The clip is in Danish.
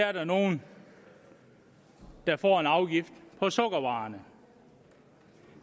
er der nogle der får en afgift på sukkervarer